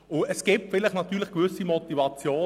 Nun gestatte ich mir noch eine Bemerkung.